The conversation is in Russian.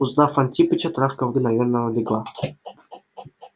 узнав антипыча травка мгновенно легла